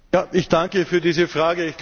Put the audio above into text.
Ich danke für diese Frage.